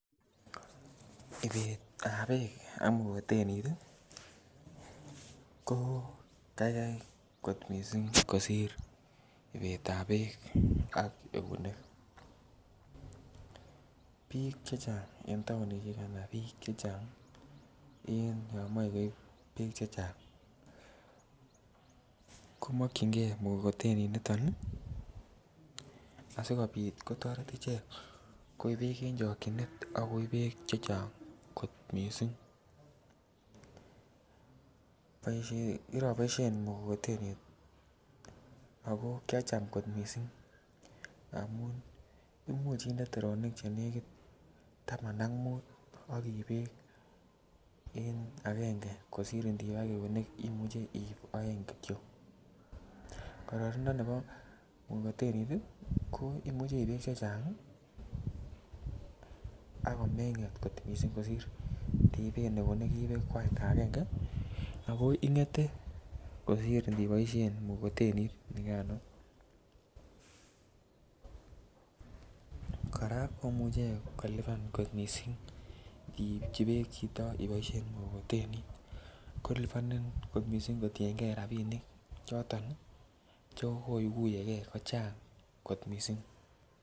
Loisetab Beek ak mkokoteni ko kaigai kot mising' kosir ibetab Beek ak eunek bik chechang' en taonisiek olon moche koib Beek ko mokyingei mkokoteni nito asikobit kotoret ichek koib Beek en chokyinet ak koib chechang' kot mising' kiroboisien mkokoteni ak kiacham kot mising' Imuch inde terenik Che negit Taman ak mut ak iib Beek konyil agenge kosir ndiib ak eunek Imuch iib oeng Kityo kororonindo nebo mkokoteni ko Imuch iib chechang ak komenget kot mising kosir ini iben eunek ko agenge agenge ago ingete kosiir in iboisien mkokoteni kora komuch kolipan kot mising iipchi chito Beek iboisien mkokoteni kolipanin kot mising' kotienge rabinik choto chekooguye ge kochang' kot mising'.